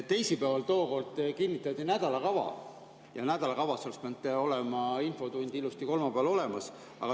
Teisipäeval kinnitati nädalakava ja nädalakavas oleks pidanud olema infotund ilusti kolmapäeval olemas.